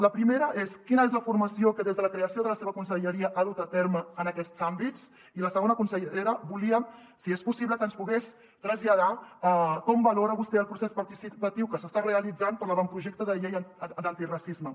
la primera és quina és la formació que des de la creació de la seva conselleria s’ha dut a terme en aquests àmbits i la segona consellera volíem si és possible que ens pogués traslladar com valora vostè el procés participatiu que s’està realitzant per a l’avantprojecte de llei d’antiracisme